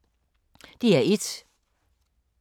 DR1